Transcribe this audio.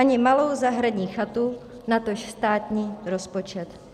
Ani malou zahradní chatu, natož státní rozpočet.